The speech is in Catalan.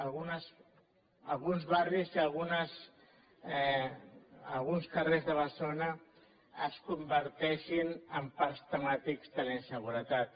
alguns barris i alguns carrers de barcelona es converteixin en parcs temàtics de la inseguretat